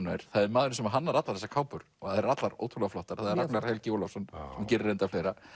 nær það er maðurinn sem hannar allar þessar kápur þær eru allar ótrúlega flottar það er Ragnar Helgi Ólafsson og gerir reyndar fleira